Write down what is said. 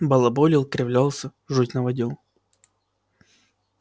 балаболил кривлялся жуть наводил